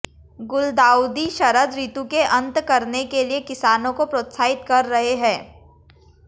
गुलदाउदी शरद ऋतु के अंत करने के लिए किसानों को प्रोत्साहित कर रहे हैं